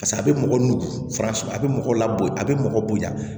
Paseke a bɛ mɔgɔ nu faransi a bɛ mɔgɔ la a bɛ mɔgɔ bonya